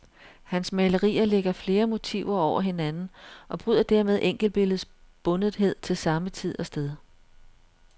Hans malerier lægger flere motiver over hinanden og bryder dermed enkeltbilledets bundethed til samme tid og sted.